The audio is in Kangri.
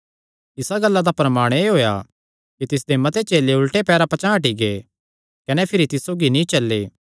इसा गल्ला दा परणाम एह़ होएया कि तिसदे मते चेले उल्टे पैरां पचांह़ हटी गै कने भिरी तिस सौगी नीं चल्ले